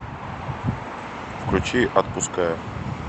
включи отпускаю